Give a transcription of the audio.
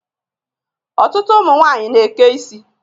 Ọtụtụ ụmụnwanyị na-eke isi.